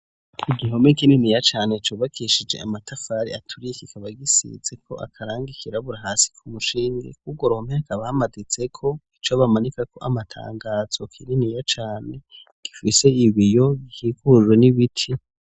Igihome kininiya cane co bakishije amatafari aturiye, kikaba gisize ko akarange ikirabura hasi ku mushindi kugo romeka bamaditse ko ico bamanika ko amatangazo k'ininiya cane gifise ibiyo byikurro n'ibiti.